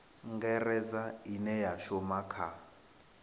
ngaredza ine ya shuma kha